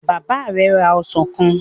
Bàbá ẹ ra ọsàn kan?